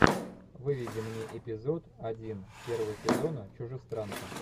выведи мне эпизод один первого сезона чужестранка